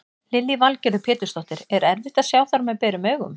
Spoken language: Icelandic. Lillý Valgerður Pétursdóttir: Er erfitt að sjá þær með berum augum?